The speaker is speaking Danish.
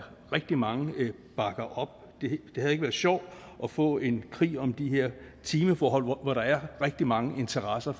rigtig mange bakker op det havde ikke været sjovt at få en krig om de her timeforhold hvor der er rigtig mange interesser